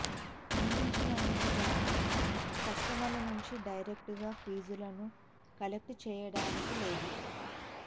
అందించినందుకు గాను కస్టమర్ల నుంచి డైరెక్ట్గా ఫీజులను కలెక్ట్ చేయడానికి లేదు